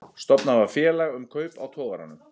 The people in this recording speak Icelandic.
Stofnað var félag um kaup á togaranum